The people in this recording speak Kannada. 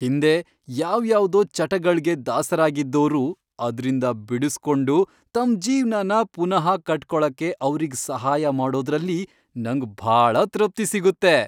ಹಿಂದೆ ಯಾವ್ಯಾವ್ದೋ ಚಟಗಳ್ಗೆ ದಾಸರಾಗಿದ್ದೋರು ಅದ್ರಿಂದ ಬಿಡುಸ್ಕೊಂಡು ತಮ್ ಜೀವ್ನನ ಪುನಃ ಕಟ್ಕೊಳಕ್ಕೆ ಅವ್ರಿಗ್ ಸಹಾಯ ಮಾಡೋದ್ರಲ್ಲಿ ನಂಗ್ ಭಾಳ ತೃಪ್ತಿ ಸಿಗುತ್ತೆ.